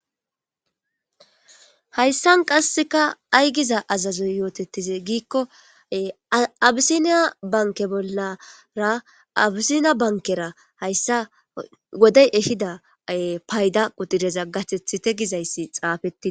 hayssan qasseka ay giza azazoy yootettize giikko abisiniya banke bollara abisinya bankera hayssa wodey ehida payda qudireza gatethite gizayssi xaafetii